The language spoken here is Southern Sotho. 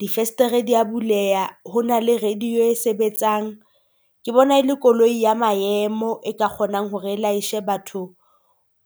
Difestere dia buleha. Hona le radio e sebetsang. Ke bona e le koloi ya maemo e ka kgonang hore e laeshe batho